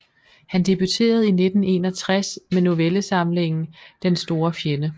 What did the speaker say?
Han debuterede i 1961 med novellesamlingen Den store fjende